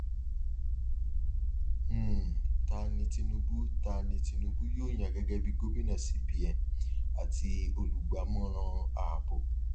um ta ni tinubu ta ni tinubu yóò yàn gẹgẹ bí gómìnà cbn àti olùgbámọràn ààbò